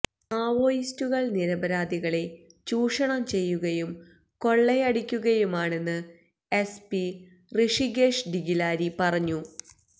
മാവോയിസ്റ്റുകള് നിരപരാധികളെ ചൂഷണം ചെയ്യുകയും കൊള്ളയടിക്കുകയുമാണെന്ന് S P Rishikesh D Khilari പറഞ്ഞു